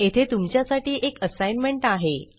येथे तुमच्यासाठी एक असाईनमेंट आहे